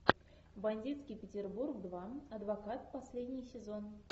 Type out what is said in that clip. бандитский петербург два адвокат последний сезон